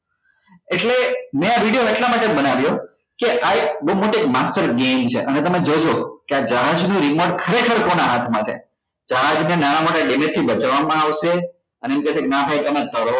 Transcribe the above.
એટલે મે આ video એટલા માટે બનવ્યો કે આ એક બઉ મોતી master game છે અને તમે જોજો કે આ જહાજ નું remote ખરેખર કોના હાથ માં છે જહાજ ને નાના મોટા damage થી બચાવવા માં આવશે અને એક કેસે કે ના ભાઈ તમે તરો